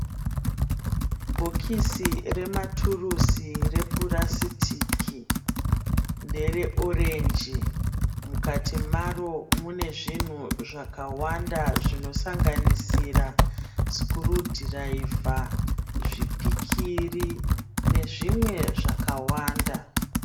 Bhokisi rematurisi repurasitiki ndere orenji mukati maro mune zvinhu zvakawanda zvinosanganisira sikurudhirayivha zvipikiri nezvimwe zvakawanda.